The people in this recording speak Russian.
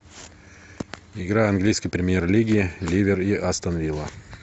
игра английской премьер лиги ливер и астон вилла